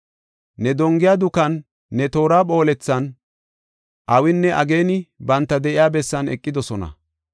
Ne dongiya dukan, ne toora phoolethan, awinne ageeni banta de7iya bessan eqidosona.